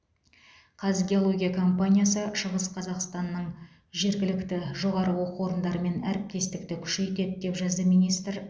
қазгеология компаниясы шығыс қазақстанның жергілікті жоғары оқу орындарымен әріптестікті күшейтеді деп жазды министр